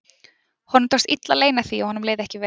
Honum tókst illa að leyna því að honum leið ekki vel.